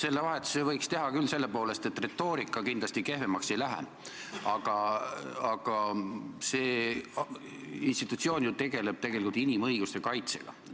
Selle vahetuse võiks selle poolest teha küll, et retoorika kindlasti kehvemaks ei lähe, aga see institutsioon tegeleb ju inimõiguste kaitsega.